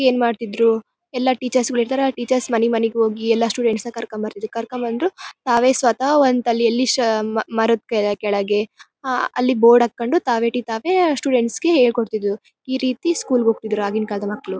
ಏನ್ ಮಾಡ್ತಿದ್ರು ಎಲ್ಲ ಟೀಚರ್ಸ್ ಗಳು ಇರ್ತ್ತರ ಆ ಟೀಚರ್ಸ್ ಮನೆ ಮನೆಗೆ ಹೋಗಿ ಎಲ್ಲ ಸ್ಟೂಡೆಂಟ್ಸ್ ನ ಕರ್ಕೊಂಡು ಬರ್ತಿದ್ರು. ಕರ್ಕೊಂಡು ಬಂದು ತಾವೇ ಸ್ವತಃ ಒಂದ್ ತಾಲಿಯಲ್ಲಿ ಸ ಮ ಮರದ ಕೆಳ ಕೆಳಗೆ ಅಲ್ಲಿ ಬೋರ್ಡ್ ಹಾಕೊಂಡು ತಾವೇ ಒಟ್ಟಿಗೆ ತಾವೇ ಸ್ಟೂಡೆಂಟ್ಸ್ ಗೆ ಹೇಳ್ಕೊಡ್ತಿದ್ರು. ಈರೀತಿ ಸ್ಕೂಲ್ ಗೆ ಹೋಗ್ತಿದ್ರು ಆಗಿನ ಕಾಲದ ಮಕ್ಕಳು.